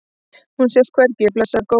Hún sést hvergi, blessaður góði.